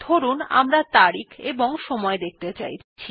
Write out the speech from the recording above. ধরুন আমরা তারিখ এবং সময় দেখতে চাইছি